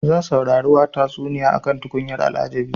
Zan saurari tatsuniya akan tukunyar al'ajabi.